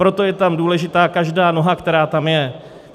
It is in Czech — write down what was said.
Proto je tam důležitá každá noha, která tam je.